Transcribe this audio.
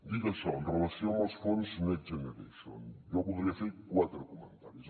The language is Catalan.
dit això en relació amb els fons next generation jo voldria fer quatre comentaris